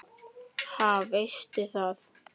Ha, veistu það?